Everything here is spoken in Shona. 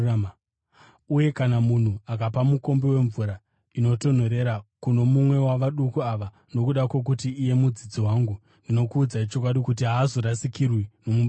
Uye kana munhu akapa mukombe wemvura inotonhorera kuno mumwe wavaduku ava nokuda kwokuti iye mudzidzi wangu, ndinokuudzai chokwadi kuti haazorasikirwi nomubayiro wake.”